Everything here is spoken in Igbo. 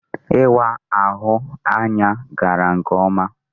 Ịwa ahụ anya gara nke ọma.